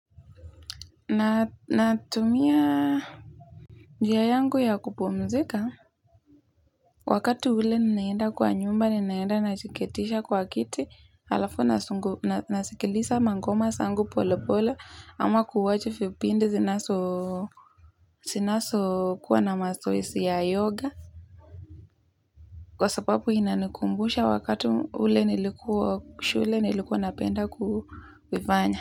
Natumia njia yangu ya kupumzika. Wakati ule ninaenda kwa nyumba ninaenda najiketisha kwa kiti, halafu na. Nasikiliza mangoma zangu pole pole, ama 'kuwach' vipindi zinazo. Zinazo kuwa na mazoezi ya yoga. Kwa sababu inanikumbusha wakati ule nilikuwa shule nilikuwa napenda kuifanya.